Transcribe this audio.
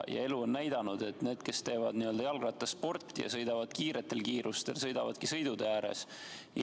Elu on näidanud, et need, kes teevad jalgrattasporti ja sõidavad suurel kiirusel, sõidavadki sõidutee ääres.